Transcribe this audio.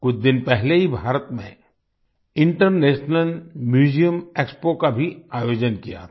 कुछ दिन पहले ही भारत में इंटरनेशनल म्यूजियम एक्सपो का भी आयोजन किया था